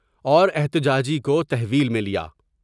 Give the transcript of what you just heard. اور احتجاجی کو تحویل میں میں لیا ۔